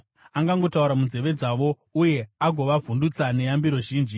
angangotaura munzeve dzavo uye agovavhundutsa neyambiro zhinji,